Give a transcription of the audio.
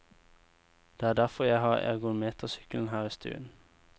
Det er derfor jeg har ergometersykkelen her i stuen.